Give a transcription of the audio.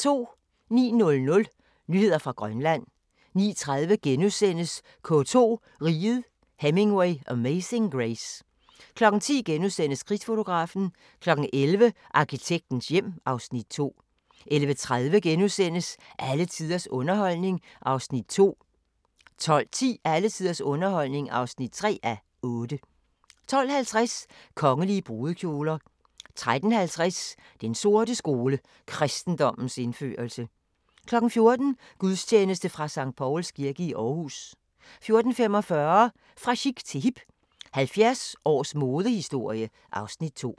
09:00: Nyheder fra Grønland 09:30: K2: Riget, Hemingway, Amazing Grace * 10:00: Krigsfotografen * 11:00: Arkitektens hjem (Afs. 2) 11:30: Alle tiders underholdning (2:8)* 12:10: Alle tiders underholdning (3:8) 12:50: Kongelige brudekjoler 13:50: Den sorte skole: Kristendommens indførelse 14:00: Gudstjeneste fra Skt. Pauls kirke i Aarhus 14:45: Fra chic til hip – 70 års modehistorie (Afs. 2)